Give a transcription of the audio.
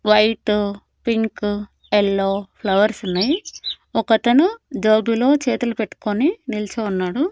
White pink yellow ఫ్లవర్సున్నై ఒకతను జోబీలో చేతులు పెట్టుకొని నిల్చో ఉన్నాడు.